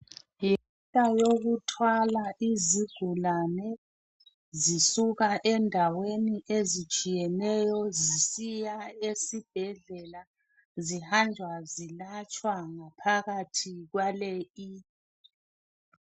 Imota yokuthwala izigulane zisuka endaweni ezitshiyeneyo zisiya esibhedlela zihamba zilatshwa ngaphakathi kwale i .